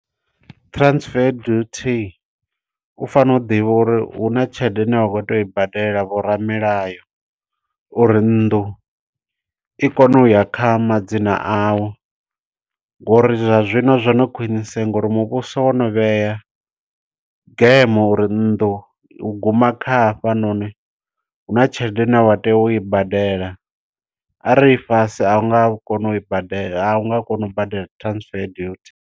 Transfer duty, u fanela u ḓivha uri hu na tshelede ine wa khou teya u i badela vhoramilayo, uri nnḓu i kone uya kha madzina awu. Ngo uri zwa zwino zwo no khwiniseya ngo uri muvhuso wo no vhea game uri nnḓu guma kha hafha noni, huna tshelede une wa tea u i badela. Arali i fhasi a u nga koni u i badela, a u nga koni u badela transfer duty.